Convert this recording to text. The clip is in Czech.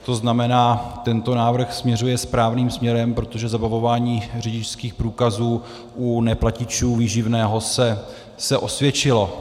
To znamená, tento návrh směřuje správným směrem, protože zabavování řidičských průkazů u neplatičů výživného se osvědčilo.